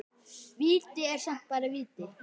Víti er samt bara víti.